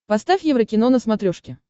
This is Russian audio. поставь еврокино на смотрешке